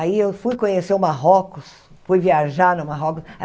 Aí eu fui conhecer o Marrocos, fui viajar no Marrocos.